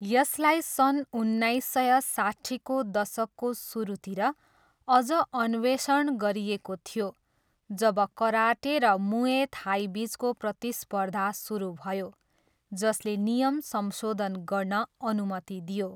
यसलाई सन् उन्नाइस सय साट्ठीको दशकको सुरुतिर अझ अन्वेषण गरिएको थियो जब कराटे र मुए थाईबिचको प्रतिस्पर्धा सुरु भयो, जसले नियम संशोधन गर्न अनुमति दियो।